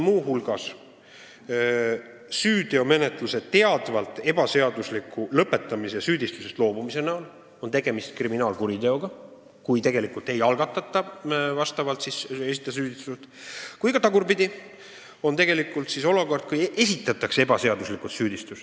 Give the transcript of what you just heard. Muu hulgas on ka süüteomenetluse teadvalt ebaseadusliku lõpetamise korral tegemist kriminaalkuriteoga, samuti siis, kui süüdistusest loobutakse või hoopis esitatakse ebaseaduslikult süüdistus.